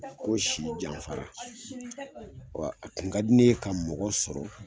Ko si janfara a kun ka di ne ye ka mɔgɔ sɔrɔ